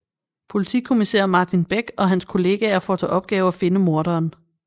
Politikommissær Martin Beck og hans kollegaer får til opgave at finde morderen